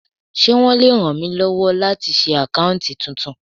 Ṣé wọn le ràn mí lọ́wọ́ láti ṣí àkáùntì titun?